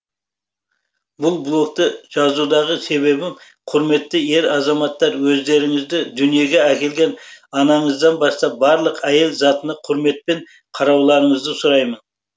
бұл блокты жазудағы себебім құрметті ер азаматтар өздеріңізді дүниеге әкелген анаңыздан бастап барлық әйел затына құрметпен қарауларыңызды сұраймын